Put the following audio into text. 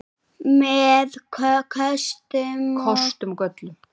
Með kostum og göllum.